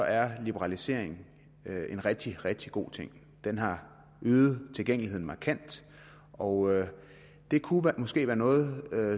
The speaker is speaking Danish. er liberalisering en rigtig rigtig god ting den har øget tilgængeligheden markant og det kunne måske være noget